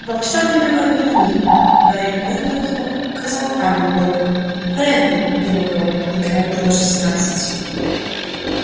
во всем виноват дневник гарри поднял его и показал дамблдору реддл его вёл когда ему было шестнадцать